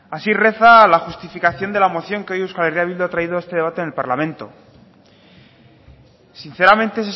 así reza la justificación de la moción que hoy euskal herria bildu ha traído a este debate al parlamento sinceramente